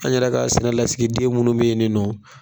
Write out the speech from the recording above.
An yɛrɛ ka sɛnɛ lasigiden minnu bɛ yen nin nɔ